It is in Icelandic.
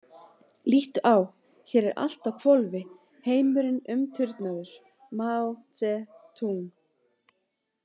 Líttu á hér er allt á hvolfi heimurinn umturnaður Maó Tse-Túng .